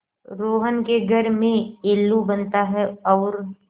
रोहन के घर में येल्लू बनता है और